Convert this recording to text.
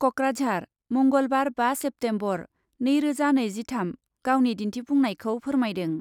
कक्राझार , मंगलबार बा सेप्तेम्बर, नैरोजा नैजिथाम, गावनि दिन्थिफुंनायखौ फोरमायदों।